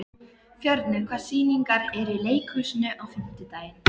Hún er bara ekki til sölu, sagði hún.